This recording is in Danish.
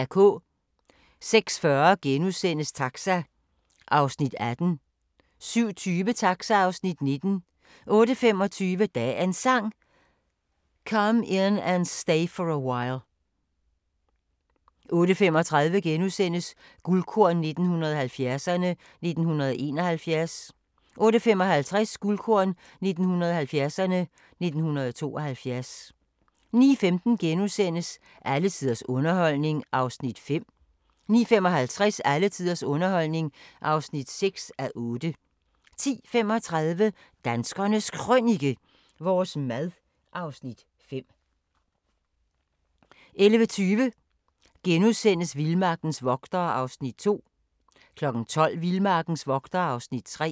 06:40: Taxa (Afs. 18)* 07:20: Taxa (Afs. 19) 08:25: Dagens Sang: Come In And Stay For A While 08:35: Guldkorn 1970'erne: 1971 * 08:55: Guldkorn 1970'erne: 1972 09:15: Alle tiders underholdning (5:8)* 09:55: Alle tiders underholdning (6:8) 10:35: Danskernes Krønike - vores mad (Afs. 5) 11:20: Vildmarkens vogtere (Afs. 2)* 12:00: Vildmarkens vogtere (Afs. 3)